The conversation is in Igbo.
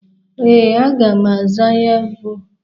Ee, aga m aza ya bụ ebe.